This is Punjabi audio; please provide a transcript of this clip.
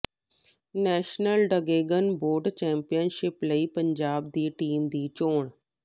ਨੈਸ਼ਨਲ ਡਰੈਗਨ ਬੋਟ ਚੈਂਪੀਅਨਸ਼ਿਪ ਲਈ ਪੰਜਾਬ ਦੀ ਟੀਮ ਦੀ ਚੋਣ